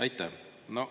Aitäh!